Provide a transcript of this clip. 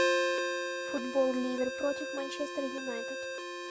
футбол ливер против манчестер юнайтед